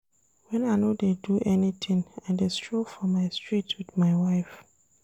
Wen I no dey do anytin, I dey stroll for my street wit my wife.